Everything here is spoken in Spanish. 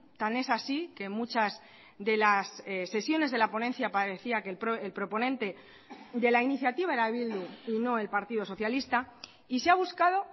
tan es así que muchas de las sesiones de la ponencia parecía que el proponente de la iniciativa era bildu y no el partido socialista y se ha buscado